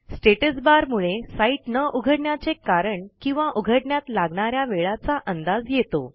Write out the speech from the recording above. status bar मुळे site न उघडण्याचे कारण किंवा उघडण्यात लागणा या वेळाचा अंदाज येतो